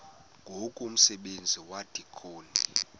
ngoku umsebenzi wabadikoni